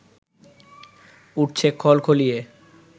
উঠছে খলখলিয়ে